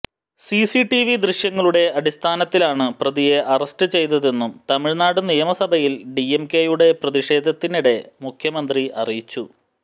CCTV ദൃശ്യങ്ങളുടെ അടിസ്ഥാനത്തിലാണ് പ്രതിയെ അറസ്റ്റ് ചെയ്തതെന്നും തമിഴ്നാട് നിയമസഭയിൽ ഡിഎംകെയുടെ പ്രതിഷേധത്തിനിടെ മുഖ്യമന്ത്രി അറിയിച്ചു